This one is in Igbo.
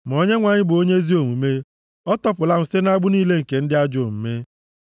Ma Onyenwe anyị bụ onye ezi omume; ọ tọpụla m site nʼagbụ niile nke ndị ajọ omume.”